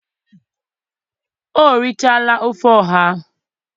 o richaala ofe ọha